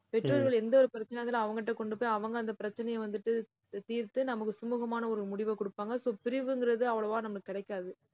பெற்றோர்கள் எந்த ஒரு பிரச்சனையா இருந்தாலும் அவங்க கிட்ட கொண்டு போய், அவங்க அந்த பிரச்சனைய வந்துட்டு, தீர்த்து நமக்கு சுமூகமான ஒரு முடிவைக் கொடுப்பாங்க. so பிரிவுங்கிறது அவ்வளவா நமக்குக் கிடைக்காது